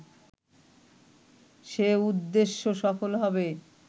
সে উদ্দেশ্য সফল হবে